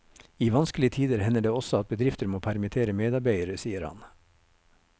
I vanskelige tider hender det også at bedrifter må permittere medarbeidere, sier han.